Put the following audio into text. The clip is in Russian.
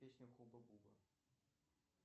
песня хуба буба